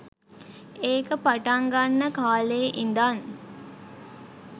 ඒක පටන් ගන්න කාලේ ඉඳන්